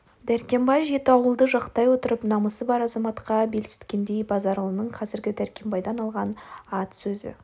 дәркембай жеті ауылды жақтай отырып намысы бар азаматқа бетсілтегендей базаралының қазіргі дәркембайдан алған ат сөзі